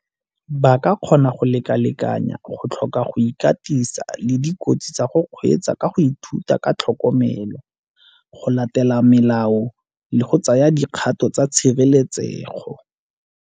Ba ka kgona go lekalekanya go tlhoka go ikatisa le dikotsi tsa go kgweetsa ka go ithuta ka tlhokomelo, go latela melao le go tsaya dikgato tsa tshireletsego.